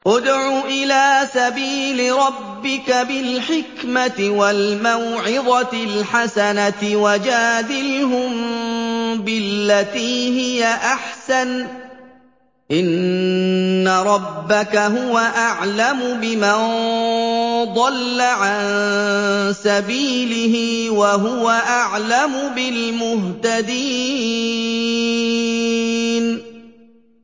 ادْعُ إِلَىٰ سَبِيلِ رَبِّكَ بِالْحِكْمَةِ وَالْمَوْعِظَةِ الْحَسَنَةِ ۖ وَجَادِلْهُم بِالَّتِي هِيَ أَحْسَنُ ۚ إِنَّ رَبَّكَ هُوَ أَعْلَمُ بِمَن ضَلَّ عَن سَبِيلِهِ ۖ وَهُوَ أَعْلَمُ بِالْمُهْتَدِينَ